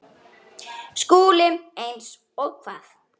SKÚLI: Eins og hvað?